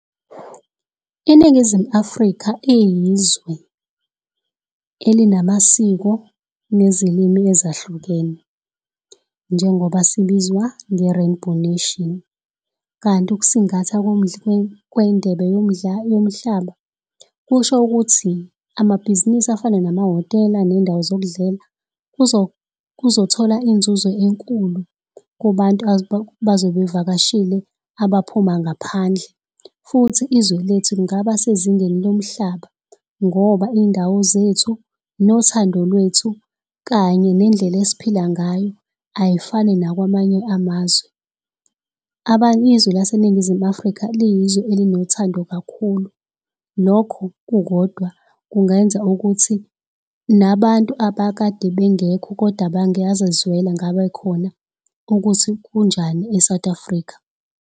INingizimu Afrika iyizwe elinamasiko nezilimi ezahlukene, njengoba sibizwa nge-Rainbow Nation. Kanti ukusingatha kwendebe yomhlaba, kusho ukuthi, amabhizinisi afana namahhotela, ney'ndawo zokudlela kuzothola izinzuzo enkulu kubantu abazobe bevakashile abaphuma ngaphandle. Futhi izwe lethu lingaba sezingeni lomhlaba, ngoba iy'ndawo zethu, nothando lwethu kanye nendlela esiphila ngayo, ayifani nakwamanye amazwe. Izwe laseNingizimu Afrika liyizwe elinothando kakhulu. Lokho kukodwa kungenza ukuthi nabantu abakade bengekho koda bangazizwela ngabekhona ukuthi kunjani e-South Africa.